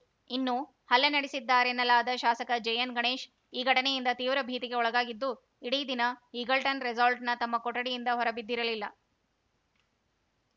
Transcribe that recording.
ಇನ್ನು ಹಲ್ಲೆ ನಡೆಸಿದ್ದಾರೆನ್ನಲಾದ ಶಾಸಕ ಜೆಎನ್‌ಗಣೇಶ್‌ ಈ ಘಟನೆಯಿಂದ ತೀವ್ರ ಭೀತಿಗೆ ಒಳಗಾಗಿದ್ದು ಇಡೀ ದಿನ ಈಗಲ್ಟನ್‌ ರೆಸಾರ್ಟ್‌ನ ತಮ್ಮ ಕೋಣೆಯಿಂದ ಹೊರಬಿದ್ದಿರಲಿಲ್ಲ